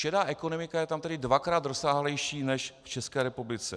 Šedá ekonomika je tam tedy dvakrát rozsáhlejší než v České republice.